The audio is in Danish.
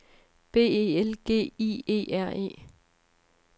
B E L G I E R E